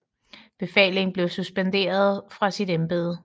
Befaling blev suspenderet fra sit Embede